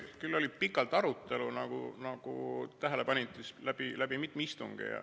Küll oli pikalt arutelu, nagu tähele panite, mitmel istungil.